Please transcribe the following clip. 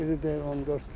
Biri deyir 14 bıçaq.